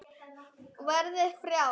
Verði frjáls.